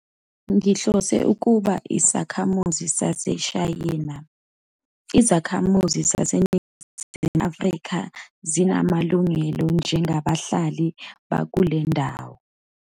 Ngihlose ukuba isakhamuzi saseShayina. izakhamuzi zaseNingizimu Afrika zinamalungelo njengabahlali bakule ndawo